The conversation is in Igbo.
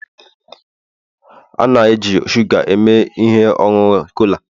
a na-eji shuga eme ihe ọṅụṅụ cola